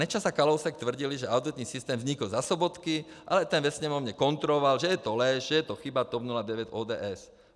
Nečas a Kalousek tvrdili, že auditní systém vznikl za Sobotky, ale ten ve Sněmovně kontroval, že je to lež, že je to chyba TOP 09, ODS.